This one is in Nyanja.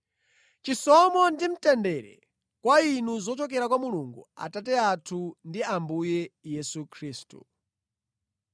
Chisomo ndi mtendere kwa inu zochokera kwa Mulungu Atate athu ndi Ambuye Yesu Khristu.